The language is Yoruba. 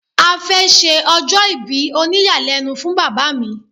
A fẹ́ ṣe ọjọ́ ìbí òníyàlẹ́nu fún bàbá mi